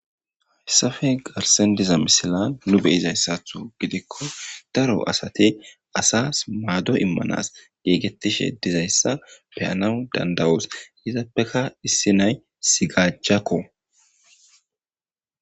Hesappe garsan diza misilen nu be,izasa gidiko daro asti asasi mado imanasi gigetishe dizayisa beyanaw danadayos izappeka issi nayi sigajako